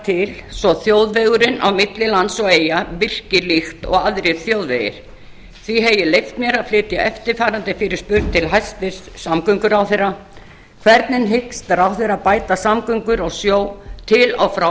til svo þjóðvegurinn á milli lands og eyja virki líkt og aðrir þjóðvegir því hef ég leyft mér að flytja eftirfarandi fyrirspurn til hæstvirts samgönguráðherra hvernig hyggst ráðherrann bæta samgöngur á sjó til og frá